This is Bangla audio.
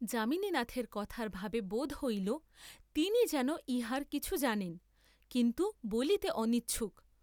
যামিনীনাথের কথার ভাবে বোধ হইল তিনি যেন ইহার কিছু জানেন, কিন্তু বলিতে অনিচ্ছুক।